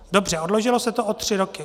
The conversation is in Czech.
Dobře, odložilo se to o tři roky.